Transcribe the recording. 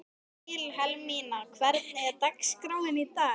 Vilhelmína, hvernig er dagskráin í dag?